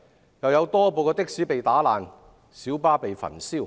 此外，更有多部的士被打爛，小巴被焚燒。